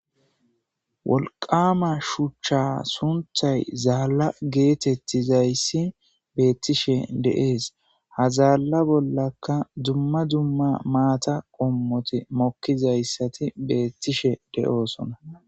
wolqama shuchcha sunthay zaalla geetettizayssi beettishe deees ha zaalla bollakka dumma dumma maata qommote mokkizayssati beettishe de7oosona